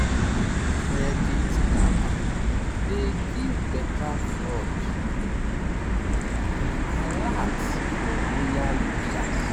credit karma dey give better fraud um alert for loyal users.